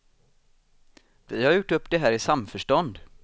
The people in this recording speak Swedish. Vi har gjort upp det här i samförstånd.